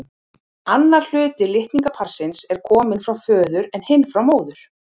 Annar hluti litningaparsins er kominn frá föður en hinn frá móður.